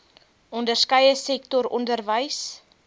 onderskeie sektor onderwys